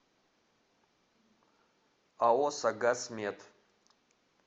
ао согаз мед